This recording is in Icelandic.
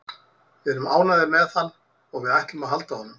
Við erum ánægðir með hann og við ætlum að halda honum.